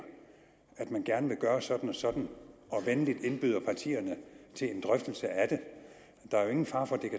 at man gerne vil gøre sådan og sådan og venligt indbyder partierne til en drøftelse af det der er jo ingen fare for at det